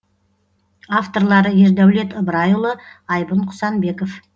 авторлары ердәулет ыбырайұлы айбын құсанбеков